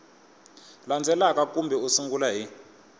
landzelaka kambe u sungula hi